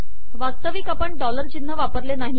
वास्तविक आपण डॉलर चिन्ह वापरले नाही